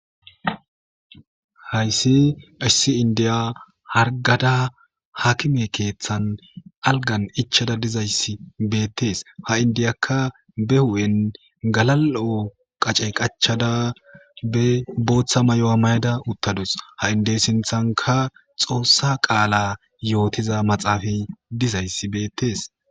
Haysi issi inddiya hargada aakime keethan algan ichchada dizaysi beetees. Ha indiyaka ichchada be huphen galal'o goose qachchada, bootha mayo mayada dizaro gidishin,izi sinthan xoosa qaala yootiza maxaafey beetees.